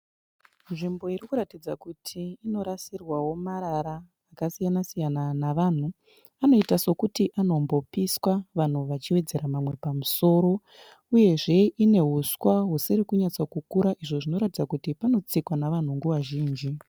Nzvimbo irikuratidza kuti inorasirwawo marara akasiyana siyana navanhu. Anoita sekuti anombopiswa vanhu vachiwedzera mamwe pamusoro, uyezve ine huswa husiri kunyatsokukura izvo zvinoratidza kuti panotsikwa navanhu nguva zhinji.